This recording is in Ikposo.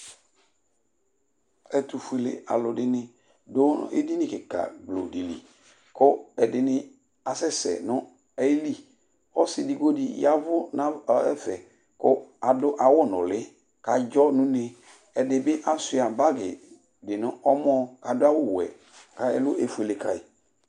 ɛtũ fuélé alũ dini dũ édini kika gblo dili kũ edini asɛsẽ nũ ayili ɔssi edigbo di yavʊ nav ɔ ɛfɛ kʊ adʊ awʊ nũlï kadzɔ nuné ɛdibi asuia bagï dinu ɔmɔ k'adu awʊ wuɛ ka ɛlũ éfuélé kai